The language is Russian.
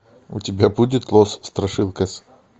у тебя будет лос страшилкас